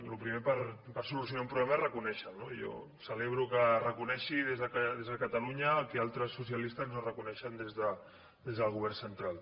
el primer per solucionar un problema és reconèixer lo no jo celebro que es reconegui des de ca talunya el que altres socialistes no reconeixen des del govern central